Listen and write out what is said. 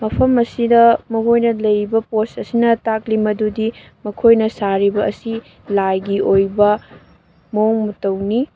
ꯃꯐꯝ ꯑꯁꯤꯗ ꯃꯒꯣꯏꯅ ꯂꯩꯔꯤꯕ ꯄꯣꯁ ꯑꯁꯤꯅ ꯇꯥꯛꯂꯤ ꯃꯗꯨꯗꯤ ꯃꯈꯣꯏꯅ ꯁꯔꯤꯕ ꯑꯁꯤ ꯂꯥꯏꯒꯤ ꯑꯣꯏꯕ ꯃꯑꯣꯡ ꯃꯇꯧꯅꯤ꯫